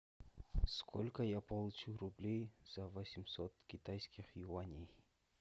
сколько я получу рублей за восемьсот китайских юаней